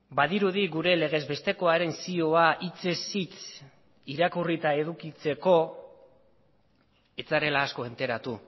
badirudi gure legez bestekoaren zioa hitzez hitz irakurrita edukitzeko ez zarela asko enteratu